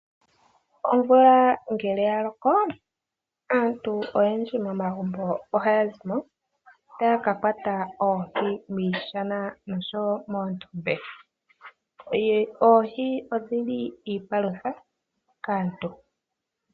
Omvula ngele ya loko aantu oyendji momagumbo ohaya zimo taya kakwata oohi miishana noshowo moondombe. Oohi odhili iipalutha kaantu.